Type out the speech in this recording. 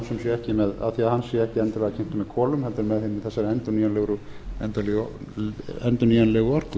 og hann sé ekki endilega kyntur með kolum heldur með þessari endurnýjanlegu orku